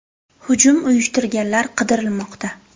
Hujum uyushtirganlar qidirilmoqda.